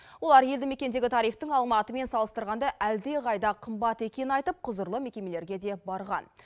олар елді мекендегі тарифтің алматымен салыстырғанда әлдеқайда қымбат екенін айтып құзырлы мекемелерге де барған